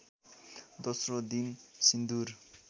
दोस्रो दिन सिन्दुर